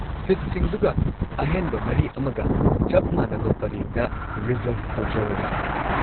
ꯁꯤꯠꯁꯤꯡꯗꯨꯒ ꯑꯍꯦꯟꯕ ꯃꯔꯤ ꯑꯃꯒ ꯆꯞ ꯃꯥꯟꯅꯕ ꯄꯔꯦꯡꯗ ꯔꯤꯖꯔꯕ ꯇꯧꯖꯔꯣꯔꯥ?